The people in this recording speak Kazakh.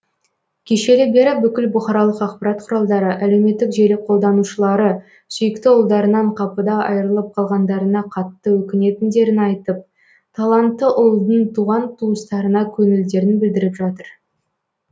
кешелі бері бүкіл бұқаралық ақпарат құралдары әлеуметтік желі қолдананушылары сүйікті ұлдарынан қапыда айырылып қалғандарына қатты өкінетіндерін айтып талантты ұлдың туған туыстарына көңілдерін білдіріп жатыр